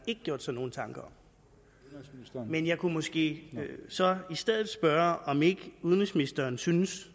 gjort sig nogen tanker om men jeg kunne måske så i stedet spørge om ikke udenrigsministeren synes